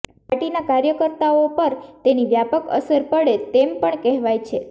પાર્ટીના કાર્યકર્તાઓ પર તેની વ્યાપક અસર પડે તેમ પણ કહેવાય છે